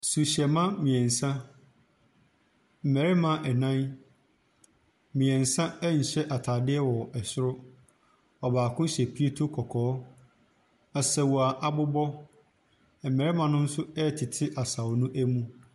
Suhyɛma mmiɛnsa, mmarima ɛnan. Mmiɛnsa ɛnhyɛ ataadeɛ ɛwɔ ɛsoro, ɔbaako hyɛ pieto kɔkɔɔ. Asau abobɔ, mmɛɛma nso ɛɛtete asau no ɛmu.